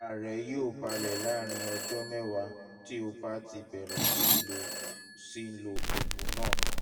ara rẹ yóò balẹ̀ láàárín ọjọ́ mẹ́wàá tí o bá ti bẹ̀rẹ̀ sí lo sí lo oògùn náà